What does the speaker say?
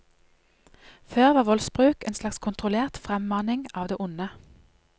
Før var voldsbruk en slags kontrollert fremmaning av det onde.